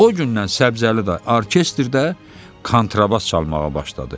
O gündən Səbzəli dayı orkestrdə kontrabas çalmağa başladı.